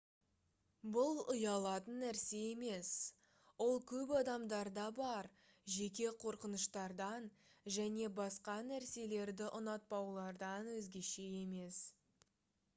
бұл ұялатын нәрсе емес ол көп адамдарда бар жеке қорқыныштардан және басқа нәрселерді ұнатпаулардан өзгеше емес